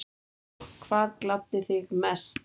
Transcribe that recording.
Já Hvað gladdi þig mest?